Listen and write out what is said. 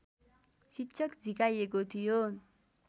शिक्षक झिकाइएको थियो